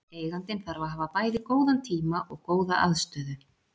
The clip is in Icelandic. Eigandinn þarf að hafa bæði góðan tíma og góða aðstöðu.